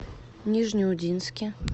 нижнеудинске